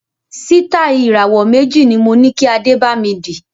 Sitai Ìràwọ́ méjì ni moní kí Adé bami dì